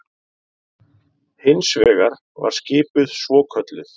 Hins vegar var skipuð svokölluð